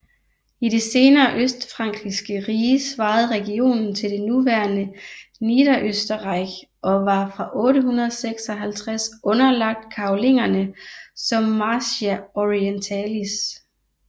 I det senere østfrankiske rige svarede regionen til det nuværende Niederösterreich og var fra 856 underlagt Karolingerne som Marchia orientalis